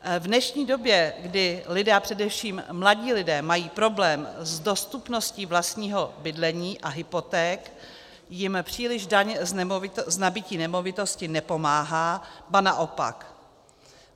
V dnešní době, kdy lidé, a především mladí lidé, mají problém s dostupností vlastního bydlení a hypoték, jim příliš daň z nabytí nemovitosti nepomáhá, ba naopak.